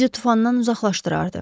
O bizi tufandan uzaqlaşdırardı.